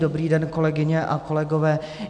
Dobrý den, kolegyně a kolegové.